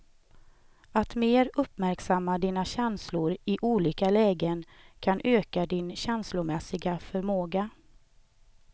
Att mer uppmärksamma dina känslor i olika lägen kan öka din känslomässiga förmåga.